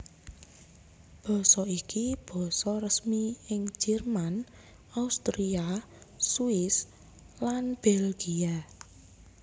Basa iki basa resmi ing Jerman Austria Swiss lan Belgia